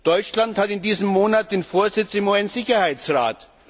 Deutschland hat in diesem Monat den Vorsitz im UN Sicherheitsrat.